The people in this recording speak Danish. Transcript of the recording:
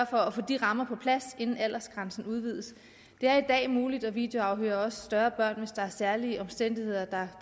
for at få de rammer på plads inden aldersgrænsen udvides det er i dag muligt at videoafhøre også større børn hvis der er særlige omstændigheder der